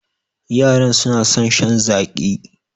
Yaran suna son shan zaƙi